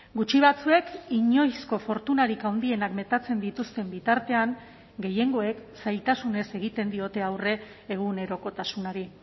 gutxi batzuek inoizko fortunarik handienak metatzen dituzten bitartean gehiengoek zailtasunez egiten diote aurre egunerokotasunari